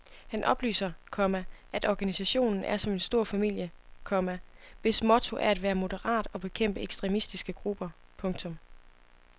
Han oplyser, komma at organisationen er som en stor familie, komma hvis motto er at være moderat og bekæmpe ekstremistiske grupper. punktum